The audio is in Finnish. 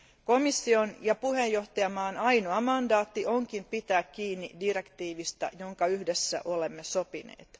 Komission ja puheenjohtajavaltion ainoa mandaatti onkin pitää kiinni direktiivistä, jonka yhdessä olemme sopineet.